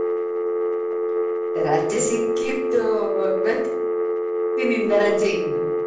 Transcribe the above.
ರಜೆ ಸಿಕ್ಕಿದ್ದು ಇವತ್ತಿನಿಂದ ರಜೆ ಇನ್ನು.